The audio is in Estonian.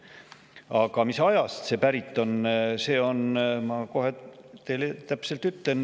Aga mis ajast need pärit on, ma ütlen teile kohe täpselt.